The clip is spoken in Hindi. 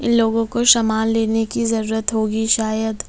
इन लोगों को सामान लेने की जरूरत होगी शायद--